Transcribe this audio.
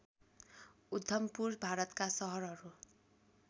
उधमपुर भारतका सहरहरू